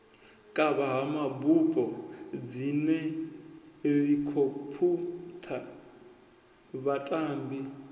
kavha ha mabupo dzihelikhophutha vhatambi